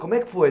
Como é que foi?